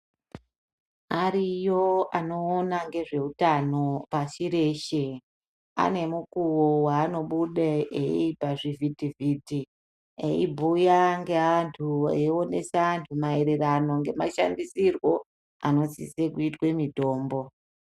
Ariyo anoona ngezveutano pashi reshe anemukuwo waanobuda pazvivhiti vhiti eibhuya ngeantu eionesa antu maererano nemashandisirwo anosise kuitwe mitombo.